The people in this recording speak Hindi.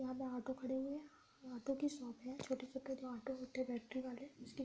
यहाँ पर ऑटो खड़े हुए हैं । ऑटो की शॉप है । छोटे-छोटे ऑटो जो होते है बैठने वाले उसकी --